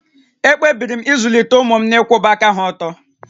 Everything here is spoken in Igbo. Ekpebiri m izụlite ụmụ m n'ịkwụba aka há ọ̀tọ́